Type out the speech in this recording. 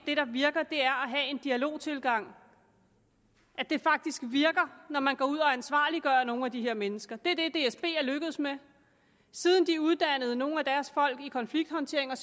det der virker er at have en dialogtilgang at det faktisk virker når man går ud og ansvarliggør nogle af de her mennesker det er det dsb er lykkedes med siden de uddannede nogle af deres folk i konflikthåndtering og